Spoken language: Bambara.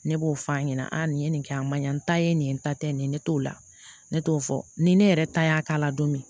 Ne b'o f'a ɲɛna aa nin ye nin kɛ a ma ɲa n ta ye nin ye n ta tɛ nin ye ne t'o la ne t'o fɔ ni ne yɛrɛ ta y'a k'a la don min